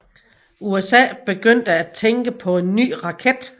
USA begyndte at tænke på en ny raket